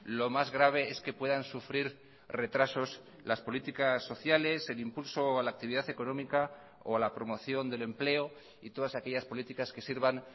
lo más grave es que puedan sufrir retrasos las políticas sociales el impulso a la actividad económica o a la promoción del empleo y todas aquellas políticas que sirvan